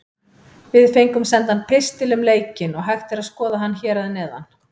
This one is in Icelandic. Við fengum sendan pistil um leikinn og hægt er að skoða hann hér að neðan.